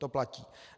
To platí.